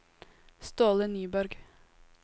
Ståle Nyborg